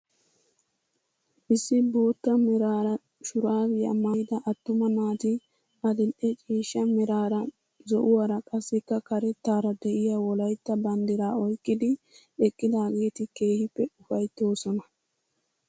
issi bootta meraara shuraabiyaa maayida attuma naati adil'e ciishsha meraara, zo'uwaara qassika karettaara de'iyaa wolaytta banddiraa oyqqidi eqqidaageti keehippe ufayttoosona.